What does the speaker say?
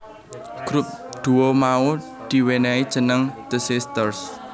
Grup duo mau di wenehi jeneng The Sisters